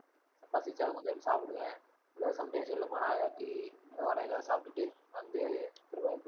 பசிச்சா கொஞ்சோண்டு சாப்பிடுவேன். இல்ல sometimes வெளில போனா tea வேற ஏதாவது சாப்பிடுட்டு வந்து திரும்பவும்